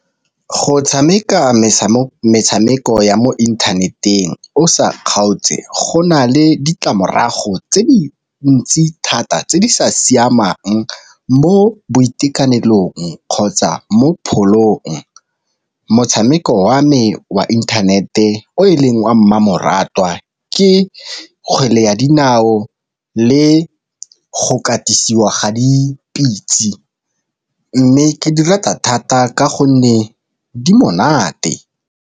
Go tshameka metshameko ya mo inthaneteng o sa kgaotse go na le ditlamorago tse di ntsi thata tse di sa siamang mo boitekanelong kgotsa mo pholong. Motshameko wa me wa internet-e o e leng wa mmamoratwa ke kgwele ya dinao le go katisiwa ga dipitse mme ke di rata thata ka gonne di monate.